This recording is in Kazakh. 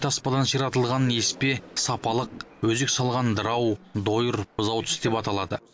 таспадан ширатылған еспе сапалық өзек салғаны дырау дойыр бұзау тіс деп аталады